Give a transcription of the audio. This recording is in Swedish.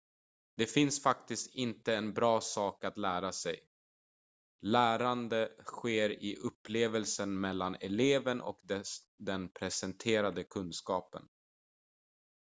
det finns faktiskt inte en bra sak att lära sig lärande sker i upplevelsen mellan eleven och den presenterade kunskapen